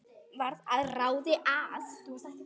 Varð að ráði að